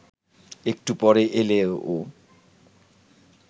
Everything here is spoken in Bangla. একটু পরে এল ও